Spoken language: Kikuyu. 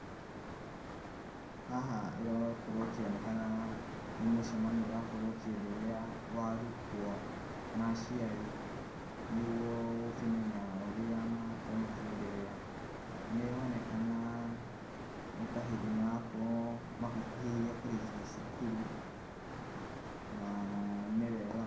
Haha, ĩrakorũo ĩkĩonekana, nĩmũcemanio ũrakorũo ũkĩenderea wa arutuo, na aciari, nĩguo, gũkĩmenya ũrĩa marakorũo makĩenderea. Nĩronekana, nĩtahĩndĩ marakorũo magĩkuhĩrĩria kũrĩkia cukuru, na ,nĩwega.